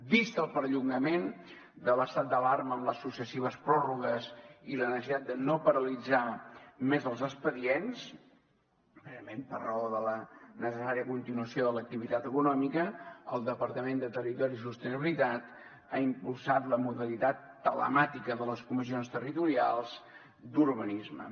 vist el perllongament de l’estat d’alarma amb les successives pròrrogues i la necessitat de no paralitzar més els expedients precisament per raó de la necessària continuació de l’activitat econòmica el departament de territori i sostenibilitat ha impulsat la modalitat telemàtica de les comissions territorials d’urbanisme